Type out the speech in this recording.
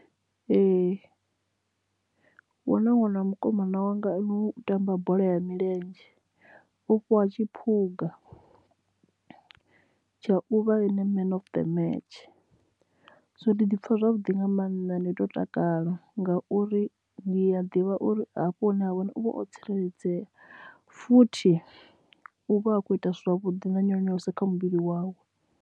Ee huna ṅwana wa mukomana wanga u tamba bola ya milenzhe u fhiwa tshiphuga tsha uvha man of the match so ndi ḓi pfha zwavhuḓi nga maanḓa ndi to takala ngauri ndi a ḓivha uri hafho hune ha vhone uvha o tsireledzea futhi u vha a khou ita zwavhuḓi nga nyonyoloso kha muvhili wawe.